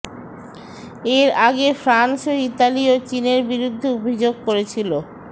এর আগে ফ্রান্স ও ইতালিও চিনের বিরুদ্ধে অভিযোগ করেছিল